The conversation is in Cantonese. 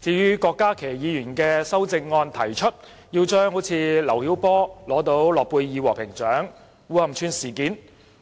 至於郭家麒議員的修正案，他提出要將劉曉波獲諾貝爾和平獎、烏坎村事件、